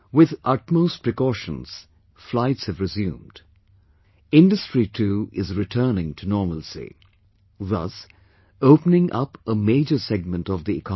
With utmost precautions, flights have resumed; industry too is returning to normalcy; thus, opening up a major segment of the economy